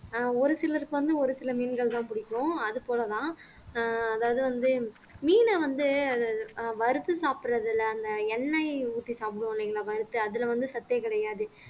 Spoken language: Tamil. ஒரு சிலருக்கு வந்து ஒரு சில மீன்கள்தான் பிடிக்கும் அது போலதான் ஆஹ் அதாவது வந்து மீனை வந்து அது ஆஹ் வறுத்து சாப்பிடுறதுல அந்த எண்ணெய் ஊத்தி சாப்பிடுவோம் இல்லைங்களா வறுத்து அதுல வந்து சத்தே கிடையாது